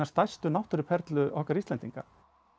stærstu náttúruperlu okkar Íslendinga